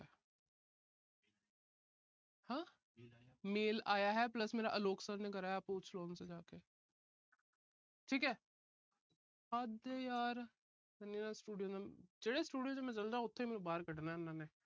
ਆਹ mail ਆਇਆ mail ਆਇਆ ਹੈ plus ਮੇਰਾ ਅਲੋਕ sir ਨੇ ਕਰਾਇਆ ਹੈ। ਪੁੱਛ ਲੋ ਉਨ ਸੇ ਜਾ ਕੇ। ਠੀਕ ਹੈ। ਹੱਦ ਆ ਯਾਰ ਮੇਰਾ student ਏ। ਜਿਹੜੇ student ਕੋਲ ਮੈਂ ਚਲ ਜਾ, ਉਥੋਂ ਹੀ ਮੈਨੂੰ ਬਾਹਰ ਕੱਢਣਾ ਇਹਨਾਂ ਨੇ।